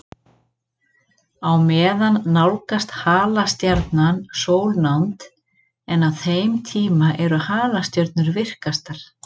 Á meðan nálgast halastjarnan sólnánd, en á þeim tíma eru halastjörnur virkastar.